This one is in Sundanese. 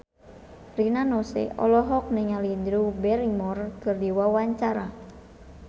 Rina Nose olohok ningali Drew Barrymore keur diwawancara